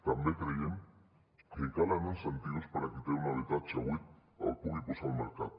també creiem que calen incentius perquè qui té un habitatge buit el pugui posar al mercat